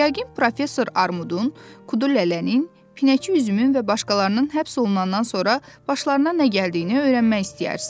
Yəqin professor Armudun, Kudu Lələnin, Pinəçi Üzümün və başqalarının həbs olunandan sonra başlarına nə gəldiyini öyrənmək istəyərsiz.